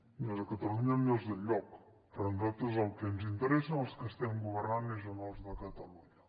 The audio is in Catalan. ni als de catalunya ni als d’enlloc però a nosaltres el que ens interessa els que estem governant és els de catalunya